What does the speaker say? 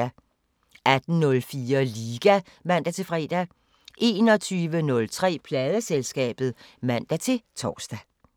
18:04: Liga (man-fre) 21:03: Pladeselskabet (man-tor)